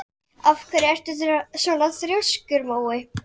Hann hefur farið seinustu tvö sumur.